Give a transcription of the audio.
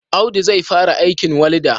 Audu zai fara aikin walda?